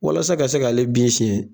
Walasa ka se k'ale bin sɛn.